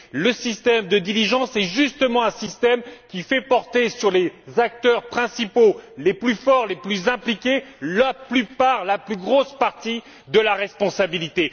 Le système de diligence est précisément un système qui fait porter sur les acteurs principaux les plus forts, les plus impliqués, la plus grosse partie de la responsabilité.